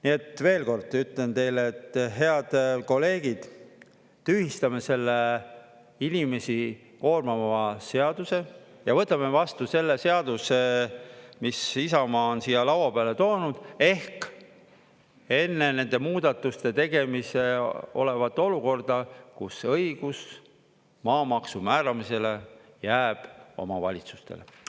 Nii et, veel kord ütlen teile, et head kolleegid, tühistame selle inimesi koormava seaduse ja võtame vastu selle seaduse, mis Isamaa on siia laua peale toonud, ehk enne nende muudatuste tegemise olevat olukorda, kus õigus maamaksu määramisele jääb omavalitsustele.